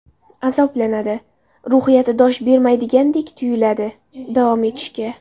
Azoblanadi, ruhiyati dosh bermaydiganday tuyuladi davom etishga.